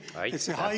Aitäh!